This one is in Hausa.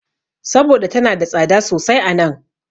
Saboda tana da tsada sosai a nan.